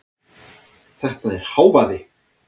Þetta er hávaði.